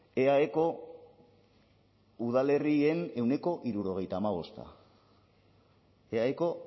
eaeko udalerrien ehuneko hirurogeita hamabost eaeko